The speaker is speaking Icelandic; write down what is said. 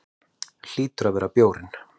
Hlýtur að vera bjórinn.